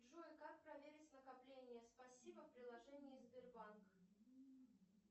джой как проверить накопления спасибо в приложении сбербанк